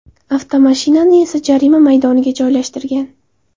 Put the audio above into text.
Avtomashinani esa jarima maydoniga joylashtirgan.